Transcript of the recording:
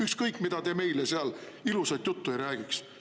Ükskõik, mida te meile seal ilusat juttu ei räägiks.